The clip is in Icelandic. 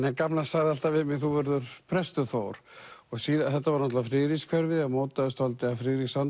að gamla sagði alltaf við mig þú verður prestur Þór og þetta var náttúrulega Friðrikshverfi og mótaðist dálítið af